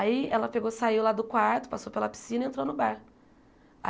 Aí ela pegou, saiu lá do quarto, passou pela piscina e entrou no bar.